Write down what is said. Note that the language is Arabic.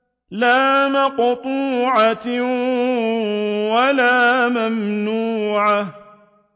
لَّا مَقْطُوعَةٍ وَلَا مَمْنُوعَةٍ